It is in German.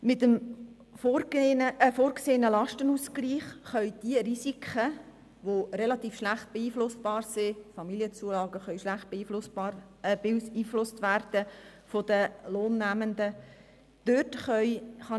Mit dem vorgesehenen Lastenausgleich sollen diese Risiken, welche relativ schlecht beeinflussbar sind – die Familienzulagen können von den Lohnnehmenden schlecht beeinflusst werden –, ausgeglichen werden.